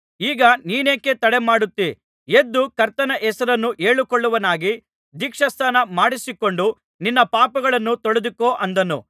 ಈಗ ನೀನೇಕೆ ತಡಮಾಡುತ್ತೀ ಎದ್ದು ಕರ್ತನ ಹೆಸರನ್ನು ಹೇಳಿಕೊಳ್ಳುವವನಾಗಿ ದೀಕ್ಷಾಸ್ನಾನ ಮಾಡಿಸಿಕೊಂಡು ನಿನ್ನ ಪಾಪಗಳನ್ನು ತೊಳೆದುಕೋ ಅಂದನು